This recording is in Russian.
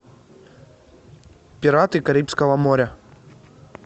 пираты карибского моря